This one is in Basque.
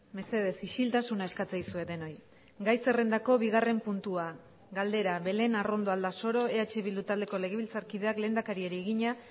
mesedez isiltasuna eskatzen dizuet denoi gai zerrendako bigarren puntua galdera belén arrondo aldasoro eh bildu taldeko legebiltzarkideak lehendakariari egina